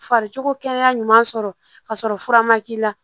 Fariko kɛnɛya ɲuman sɔrɔ ka sɔrɔ fura ma k'i la